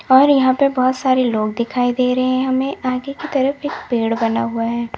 और यहां पे बहोत सारे लोग दिखाई दे रहे हैं हमें आगे की तरफ एक पेड़ बना हुआ है।